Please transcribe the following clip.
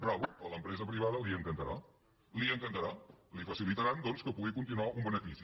bravo a l’empresa privada li encantarà li encantarà li facilitaran doncs que pugui continuar un benefici